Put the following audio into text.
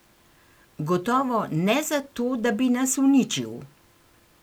Gotovo ne zato, da bi nas uničil.